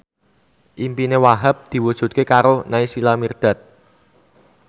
impine Wahhab diwujudke karo Naysila Mirdad